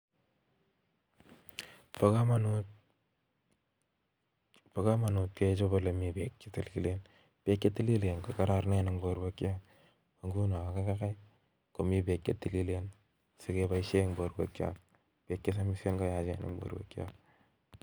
Ba kamanut kechop. olemii peeek chetililen peek chetililen kokararan eeng porweek chook peek chesamisem koyacheen Eng porweek chook